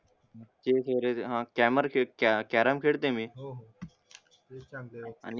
आणि कॅमरशेट कॅरम खेळताय मी